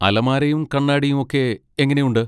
അലമാരയും കണ്ണാടിയും ഒക്കെ എങ്ങനെയുണ്ട്?